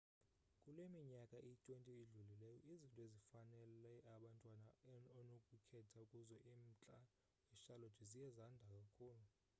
kule minyaka iyi-20 idlulileyo izinto ezifanele abantwana onokukhetha kuzo emntla wecharlotte ziye zanda kakhulu